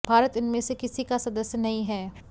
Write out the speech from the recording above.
भारत इनमें से किसी का सदस्य नहीं है